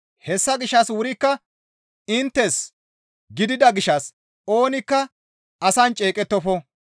Hessa gishshas wurikka inttes gidida gishshas oonikka asan ceeqettofo.